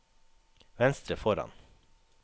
venstre foran